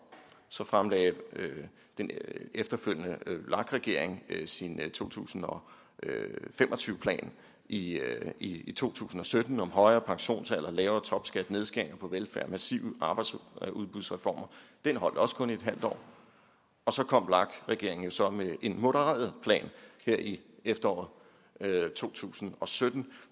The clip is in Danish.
så fremlagde den efterfølgende vlak regering sin to tusind og fem og tyve plan i i to tusind og sytten om højere pensionsalder lavere topskat nedskæringer på velfærd og massive arbejdsudbudsreformer den holdt også kun i et halvt år så kom vlak regeringen jo så med en modereret plan her i efteråret to tusind og sytten